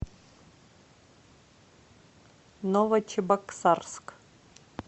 новочебоксарск